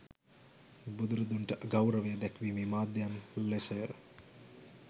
බුදුරදුන්ට ගෞරවය දැක්වීමේ මාධ්‍යයන් ලෙසය.